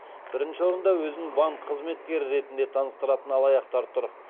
бірінші орында өзін банк қызметкері ретінде таныстыратын алаяқтар тұр